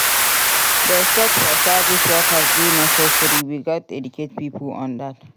Respect for service workers dey necessary; we gats educate pipo on dat.